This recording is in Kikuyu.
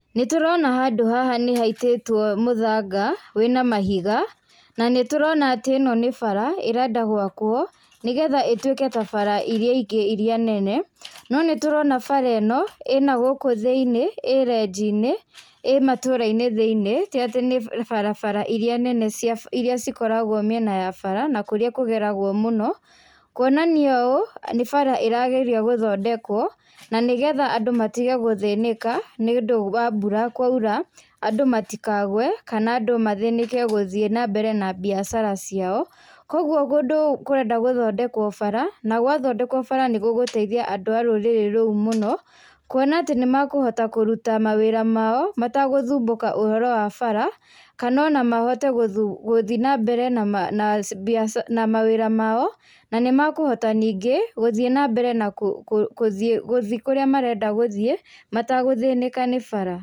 Nĩtũrona handũ haha nĩhaitĩtwo mũthanga wĩna mahiga nanĩtũrona atĩ ĩno nĩ bara ĩrenda gwakwo nĩgetha ĩtwĩke ta bara iria ingĩ iria nene nonĩtũrona bara ĩno ĩna gũkũ thĩ-iniĩ ĩ renji-inĩ ĩ matũra-inĩ thĩ-iniĩ ti atĩ nĩ barabara iria nene cia iria cikoragwo mĩena ya bara na kũrĩa kũgeragwo mũno kũonania ũũ nĩ bara ĩrageria gũthondekwo na nĩgetha andũ matige gũthĩnĩka nĩũndũ wa mbura kwaura, andũ matikagwe kana andũ mathĩnĩke gũthiĩ nambere na biashara ciao, kwoguo kũndũ kũrenda gũthondekwo bara na gwathondekwo bara nigũgũteithia andũ a rũrĩrĩ rũu mũno, kuona atĩ nĩmakũhota kũruta mawĩra mao mategũthumbuka ũhoro wa bara kana ona mahote gũthuu gũthi nambere nama nama naa cii na biacara na mawĩra mao na nĩmakũhota ningĩ gũthiĩ nambere na kũũ kũũ gũthiĩ kũrĩa arenda gũthiĩ mategũthĩnĩka ni bara,